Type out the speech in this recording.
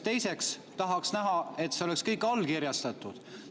Teiseks tahaks näha, kas see on ka allkirjastatud.